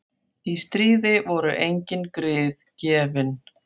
Í stríði voru engin grið gefin.